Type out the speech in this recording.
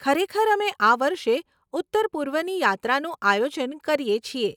ખરેખર, અમે આ વર્ષે ઉત્તરપૂર્વની યાત્રાનું આયોજન કરીએ છીએ.